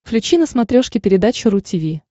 включи на смотрешке передачу ру ти ви